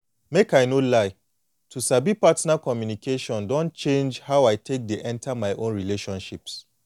make i no lie to sabi partner communication don change how i take dey enter my own relationships